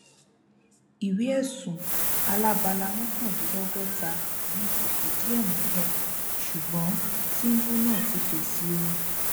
ìwé ẹsùn alábala mọkàndínlọgọta yìí ti fìdí ẹ múlẹ ṣùgbọn tìǹbù náà ti fèsì o